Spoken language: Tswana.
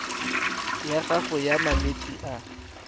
ya gago ya malwetse a